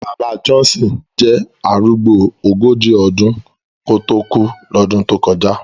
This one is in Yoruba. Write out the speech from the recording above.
Bàbá Johnson jẹ́ arúgbó ogójì ọdún kó tó kú lọ́dún tó kọjá